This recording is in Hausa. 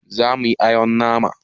Zamu yi awon nama